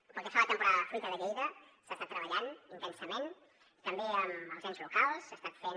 pel que fa a la temporada de la fruita de lleida s’ha estat treballant intensament també amb els ens locals s’ha estat fent